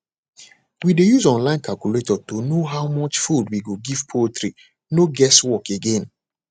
we dey use online calculator to know how much food we go give poultry no guess work again